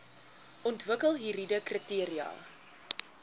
ontwikkel hieride kriteria